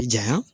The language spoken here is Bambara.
Jaɲa